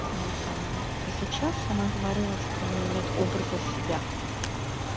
вот и про сейчас она говорила что у нее нет образа себя